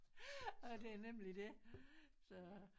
Ja det er nemlig det så